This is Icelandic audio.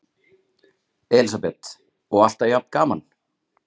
Elísabet: Og alltaf jafn gaman?